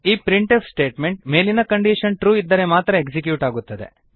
ಈ print if statement ಮೇಲಿನ condition true ಇದ್ದರೆ ಮಾತ್ರ ಎಕ್ಸಿಕ್ಯೂಟ್ ಆಗುತ್ತದೆ